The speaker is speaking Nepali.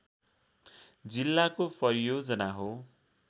जिल्लाको परियोजना हो